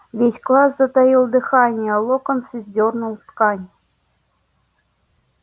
весь класс затаил дыхание локонс сдёрнул ткань